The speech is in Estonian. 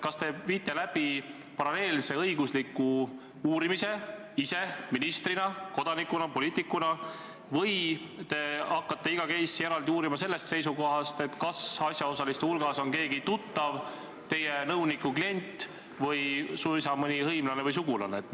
Kas te viite ise läbi paralleelse õigusliku uurimise ministrina, kodanikuna, poliitikuna, või te hakkate iga case'i eraldi uurima sellest seisukohast, kas asjaosaliste hulgas on keegi tuttav, teie nõuniku klient või suisa mõni hõimlane või sugulane?